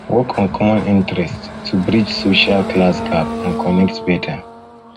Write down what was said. work on common interests to common interests to bridge social class gap and connect better